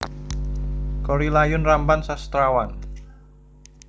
Korrie Layun Rampan Sastrawan